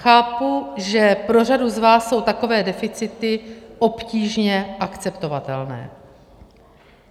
Chápu, že pro řadu z vás jsou takové deficity obtížně akceptovatelné.